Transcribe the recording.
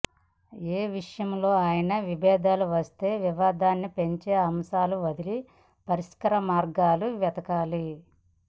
ఏ విషయంలో అయినా విభేదాలు వస్తే వివాదాన్ని పెంచే అంశాలు వదిలి పరిష్కార మార్గాలు వెతకాలి